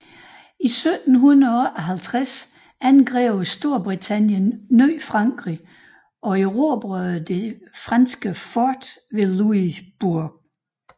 I 1758 angreb Storbritannien Ny Frankrig og erobrede det franske fort ved Louisbourg